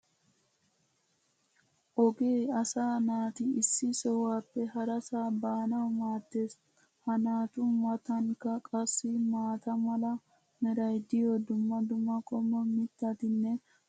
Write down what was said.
ogee asaa naati issi sohuwappe harasaa baanawu maadees. ha naatu matankka qassi maata mala meray diyo dumma dumma qommo mitattinne hara dumma dumma irxxabati de'oosona.